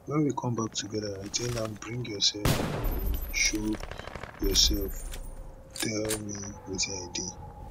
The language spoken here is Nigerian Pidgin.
wen we come back togeda i tell am bring yourself in show yourself tell me wetin i dey